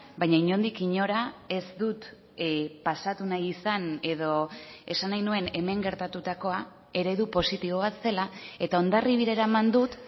baina inondik inora ez dut pasatu nahi izan edo esan nahi nuen hemen gertatutakoa eredu positibo bat zela eta hondarribira eraman dut